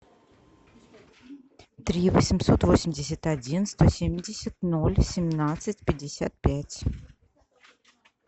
три восемьсот восемьдесят один сто семьдесят ноль семнадцать пятьдесят пять